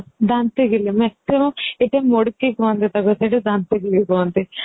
ଦାନ୍ତକିଲି maximum ଏଇଠି ମୁଡକି କୁହନ୍ତି ତାକୁ ସେଇଠି ଦାନ୍ତକିଲି କୁହନ୍ତି